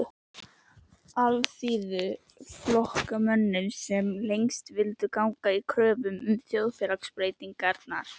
Alþýðuflokksmönnum, sem lengst vildu ganga í kröfum um þjóðfélagsbreytingar.